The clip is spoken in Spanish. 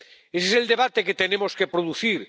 Ese es el debate que tenemos que producir.